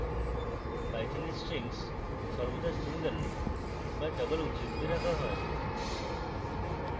python এ strings সর্বদা single বা double উদ্ধৃতিতে রাখা হয়